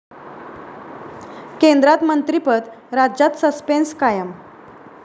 केंद्रात मंत्रिपद, राज्यात सस्पेंस कायम